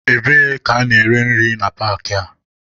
Ebee ka a na-ere nri na paakị a?